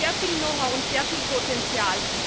Es gibt hier sehr viel Know how und sehr viel Potenzial.